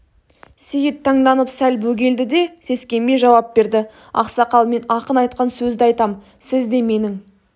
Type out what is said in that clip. сейіт таңданып сәл бөгелді де сескенбей жауап берді ақсақал мен ақын айтқан сөзді айтам сізде менің